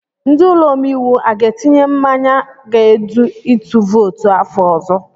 Ndi ụlọ omeiwu aga etinye mmanye ga-edu itu vootu afọ ọzọ?